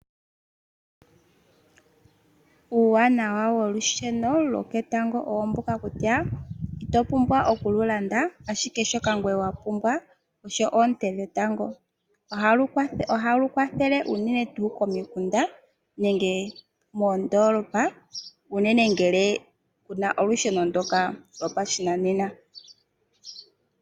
Uuwanawa wolusheno lwoketango owo mbuka kutya ito pumbwa okuli landa ashike owa pumbwa owala oonte dhetango, ohali kwathele unene komikunda nenge moondolopa unene ngele kamu na olusheno lwopashinanena.